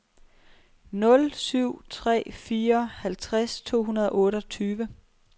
nul syv tre fire halvtreds to hundrede og otteogtyve